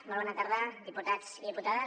molt bona tarda diputats i diputades